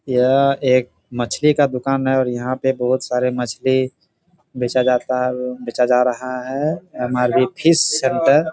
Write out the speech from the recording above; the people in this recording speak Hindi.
यह एक मछली का दुकान है और यहां पे बहुत सारे मछली बेचा जाता है बेचा जा रहा है हमारे फिश सेंटर --